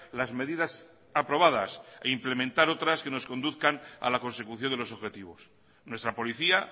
las medidas aprobadas e implementar otras que nos conduzcan a la consecución de los objetivos nuestra policía